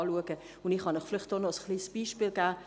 Ich kann Ihnen noch ein kleines Beispiel geben: